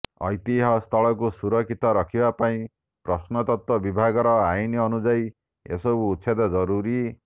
ଐତିହ୍ୟ ସ୍ଥଳକୁ ସୁରକ୍ଷିତ ରଖିବା ପାଇଁ ପ୍ରତ୍ନତତ୍ତ୍ବ ବିଭାଗର ଆଇନ ଅନୁଯାୟୀ ଏସବୁ ଉଛେଦ ଜରୁରୀ